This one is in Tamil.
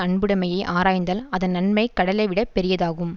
அன்புடைமையை ஆராய்ந்தால் அதன் நன்மை கடலைவிட பெரியதாகும்